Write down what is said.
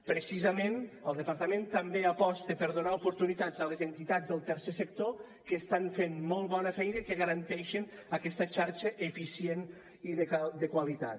precisament el departament també aposta per donar oportunitats a les entitats del tercer sector que estan fent molt bona feina i que garanteixen aquesta xarxa eficient i de qualitat